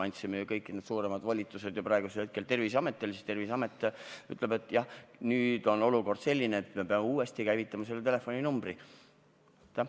Ja kuna me oleme kõik need suuremad volitused praegu Terviseametile andnud, siis Terviseamet ütleb, et nüüd on olukord selline, et peame uuesti selle telefoninumbri käivitama.